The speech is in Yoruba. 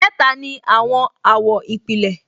Mẹ́ta ni àwọn àwọ̀ ìpìlẹ̀